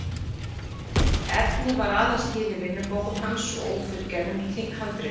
Efnið var aðeins til í vinnubókum hans og ófullgerðum handritum.